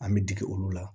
An bɛ digi olu la